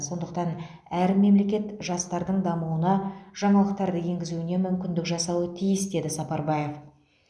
сондықтан әр мемлекет жастардың дамуына жаңалықтарды енгізуіне мүмкіндік жасауы тиіс деді сапарбаев